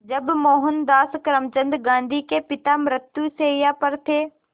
जब मोहनदास करमचंद गांधी के पिता मृत्युशैया पर थे